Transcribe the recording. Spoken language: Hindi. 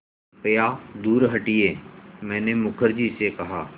कृपया दूर हटिये मैंने मुखर्जी से कहा